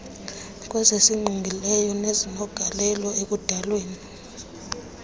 kwezisingqongileyo nezinegalelo ekudalweni